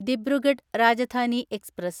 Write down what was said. Dibrugarh Rajdhani express